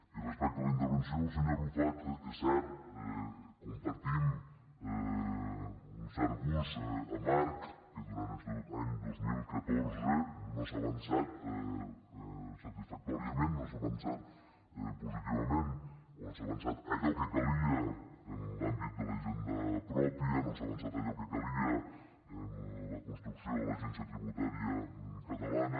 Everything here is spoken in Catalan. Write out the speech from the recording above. i respecte a la intervenció del senyor arrufat és cert compartim un cert gust amarg que durant este any dos mil catorze no s’ha avançat satisfactòriament no s’ha avançat positivament o no s’ha avançat allò que calia en l’àmbit de la hisenda pròpia no s’ha avançat allò que calia en la construcció de l’agència tributària catalana